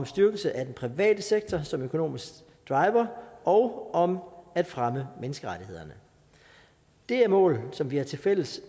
styrkelse af den private sektor som en økonomisk driver og om at fremme menneskerettighederne det er mål som vi har tilfælles